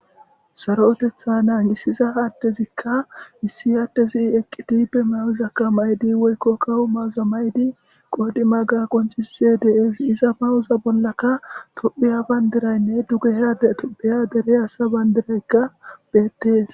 Saro otetha naangisiza aattezikka issi aattezi eqqi tipe mayuzakka maydi woykko kawu mawuza maydi qoodi maga qonchisse deesi iza mawuza bollaka tophiya bayndiraynne duge headeto beya dere asa bandiraykka beettes.